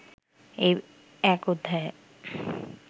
এই এক অধ্যায়ে